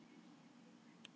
Odd á sunnudögum.